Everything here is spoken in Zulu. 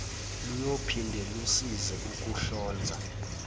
luyophinde lusize ukuhlonza